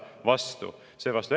vastu.